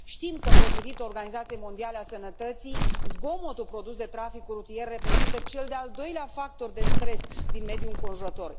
Știm că, potrivit Organizației Mondiale a Sănătății, zgomotul produs de traficul rutier reprezintă cel de al doilea factor de stres din mediul înconjurător.